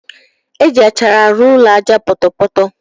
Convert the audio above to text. Eji achara arụ ụlọ aja ọpọtọpọtọ.